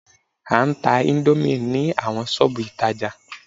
A ń tá índómì ní awọn ṣọ́ọ̀bù ìtajà